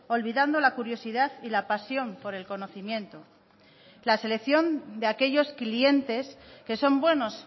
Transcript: olvidando la curiosidad y la pasión por el conocimiento la selección de aquellos clientes que son buenos